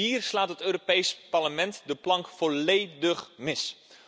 Hier slaat het Europees Parlement de plank volledig mis!